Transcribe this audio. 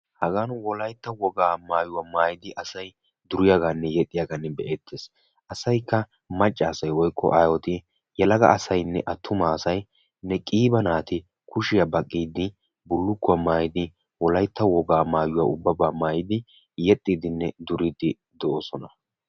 Hagan wolaytta wogaa maayuwa maayidi asay duriyaagaanne exxiya be'eetees. asaykka macca asay woykko aayoti yelaga naatikka kushiya baqiidi bullukkuwa maayidi de'oosona.